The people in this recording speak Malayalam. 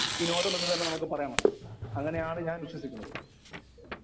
സ്പീക്കർ 1 വിനോദം എന്നു തന്നെ നമുക്ക് പറയണം. അങ്ങനെ ആണ് ഞാൻ വിശ്വസിക്കുന്നത്.